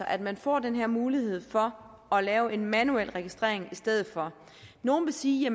at man får den her mulighed for at lave en manuel registrering i stedet for nogle vil sige